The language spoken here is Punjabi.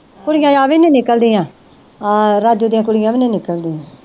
ਕੁੜੀਆਂ ਆਹ ਵੀ ਨਹੀਂ ਨਿਕਲਦੀਆਂ ਆਹ ਰਾਜੂ ਦੀਆਂ ਕੁੜੀਆਂ ਵੀ ਨਹੀਂ ਨਿਕਲਦੀਆਂ